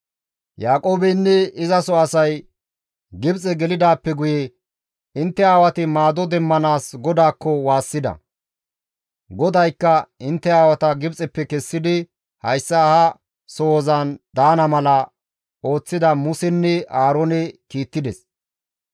«Yaaqoobeynne izaso asay Gibxe gelidaappe guye intte aawati maado demmanaas GODAAKKO waassida; GODAYKKA intte aawata Gibxeppe kessidi hayssa ha sohozan daana mala ooththida Musenne Aaroone kiittides.